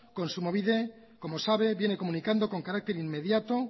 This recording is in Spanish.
kontsumobide como sabe viene comunicando con carácter inmediato